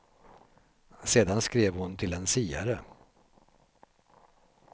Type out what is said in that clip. Sedan skrev hon till en siare.